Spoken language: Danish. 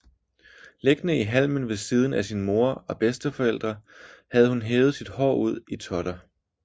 Liggende i halmen ved siden af sin moder og bedsteforældre havde havde hun hevet sit hår ud i totter